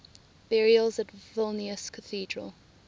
burials at vilnius cathedral